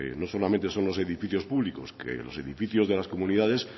no solamente son los edificios públicos los edificios de las comunidades